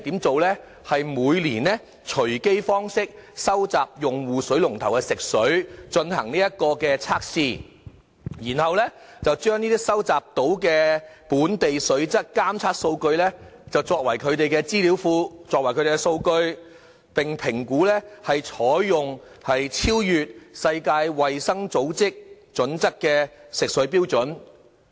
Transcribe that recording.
只是每年以隨機方式收集用戶水龍頭的食水進行測試，然後把收集的本地水質監測數據，作為他們的資訊庫和數據，評估採用超越世界衞生組織準則的食水標準。